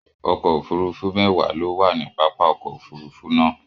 Ọkò òfúrùfú méwà ló wà ní pápá òkò òfúrùfú náà